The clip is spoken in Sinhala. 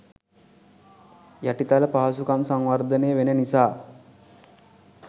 යටිතල පහසුකම් සංවර්ධනය වෙන නිසා.